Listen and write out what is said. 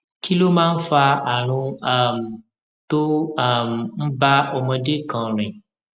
kí ló máa ń fa àrùn um tó um ń bá ọmọdé kan rìn